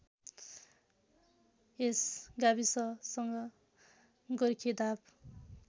यस गाविससँग गोर्खेधाप